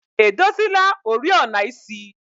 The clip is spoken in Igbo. edozila oriọna isi?